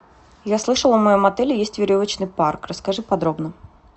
я слышала в моем отеле есть веревочный парк расскажи подробно